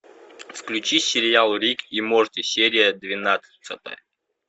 включи сериал рик и морти серия двенадцатая